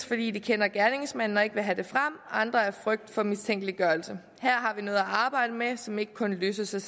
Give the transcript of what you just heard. fordi de kender gerningsmanden og ikke vil have det frem andre af frygt for mistænkeliggørelse her har vi noget at arbejde med som ikke kun løses